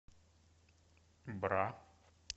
бра